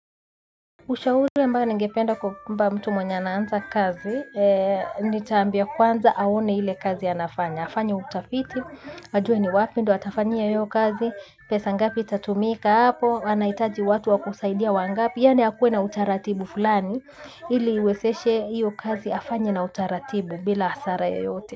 Ushauri ambayo ningependa kumpa mtu mwenye anaanza kazi, nitaambia kwanza aone ile kazi anafanya, afanye utafiti, ajue ni wapi ndo atafanyia hio kazi, pesa ngapi itatumika hapo, anaitaji watu wakusaidia wangapi, yani akuwe na utaratibu fulani, ili uwezeshe hiyo kazi afanye na utaratibu bila hasara yoyote.